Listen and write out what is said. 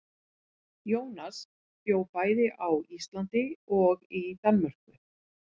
Jónas bjó bæði á Íslandi og í Danmörku.